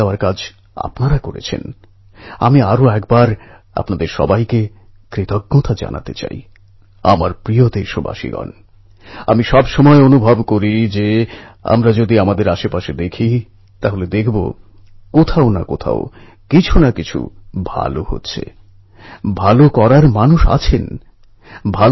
সার্বজনীন গণেশ উৎসব পরম্পরাগতভাবে শ্রদ্ধা ও আয়োজনে সমৃদ্ধ হয়ে উঠলেও একই সঙ্গে সমাজ জাগরণ একতা সমদর্শিতা এবং সাম্যের মানসিকতা গড়ে তোলার ক্ষেত্রে একটা প্রভাবশালী মাধ্যম হয়ে উঠেছিল